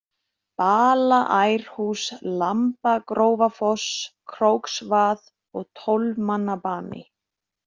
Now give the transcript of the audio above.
Balaærhús, Lambagrófarfoss, Krókvað, Tólfmannabani